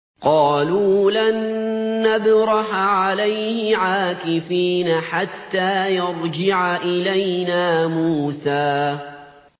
قَالُوا لَن نَّبْرَحَ عَلَيْهِ عَاكِفِينَ حَتَّىٰ يَرْجِعَ إِلَيْنَا مُوسَىٰ